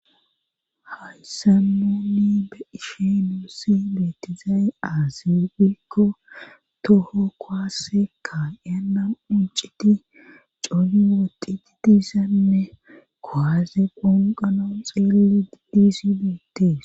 Hayssanonni ba iishenussi beetizaaye aaziwikko toho kowaassekka yanan unciti coni woqi didisanne koaze ponqano xeelli diizibeetes.